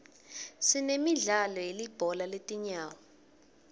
sinemidlalo yelibhola letinyawo